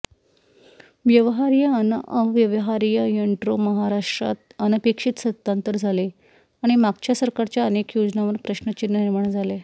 व्यवहार्य अन् अव्यवहार्यइंट्रोमहाराष्ट्रात अनपेक्षित सत्तांतर झाले आणि मागच्या सरकारच्या अनेक योजनांवर प्रश्न चिन्ह निर्माण झाले